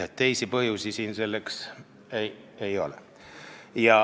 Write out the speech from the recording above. Teisi põhjusi siin ei ole.